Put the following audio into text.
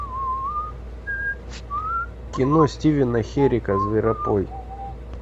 кино стивена херека зверопой